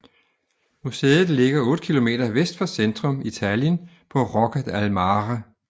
Museet ligger 8 km vest for centrum i Tallinn på Rocca al Mare